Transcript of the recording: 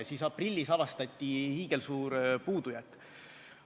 Siis aprillis avastati hiigelsuur puudujääk.